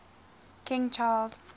king charles